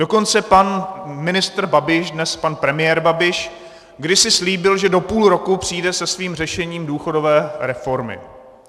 Dokonce pan ministr Babiš, dnes pan premiér Babiš, kdysi slíbil, že do půl roku přijde se svým řešením důchodové reformy.